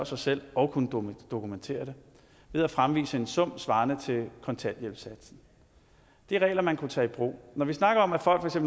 sig selv og kunne dokumentere det ved at fremvise en sum svarende til kontanthjælpssatsen det er regler man kunne tage i brug når vi snakker om at folk for